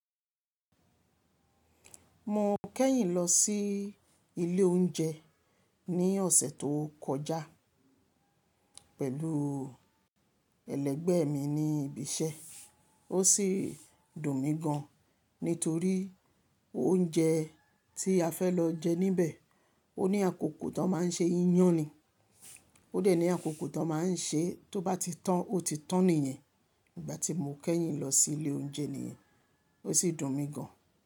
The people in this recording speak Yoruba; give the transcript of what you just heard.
Mo kẹ́yìn lọ sí ilé oúnjẹ ní ọ̀sẹ̀ tó kọjá pẹ̀lú ẹlẹgbẹ́ mi ní ibi iṣẹ́. Ó sì dùn mí gan, nítorí oúnjẹ tí a fẹ́ lọ jẹ níbẹ̀, ó ní àkókò tó má n ṣe iyán ni. Ó dẹ̀ ní àkókò tó má n ṣe, tó bá ti tàn, ó ti tàn nìyẹn. Ìgbà tí mo kẹ́yìn lọ sí ilé oúnjẹ nìyẹn, ó sì dùn mí gan.